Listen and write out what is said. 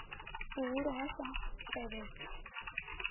vhuhulu ha u sa tevhedzwa